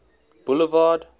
boulevard